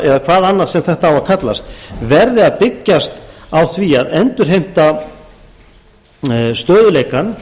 eða hvað annað sem þetta á að kallast verði að byggjast á því að endurheimta stöðugleikann